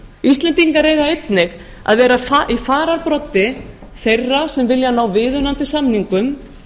íslendingar eiga einnig að vera í fararbroddi þeirra sem vilja ná viðunandi samningum